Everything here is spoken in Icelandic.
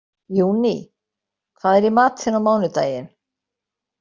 Júní, hvað er í matinn á mánudaginn?